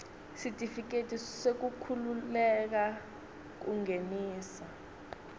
sitifiketi sekukhululeka kungenisa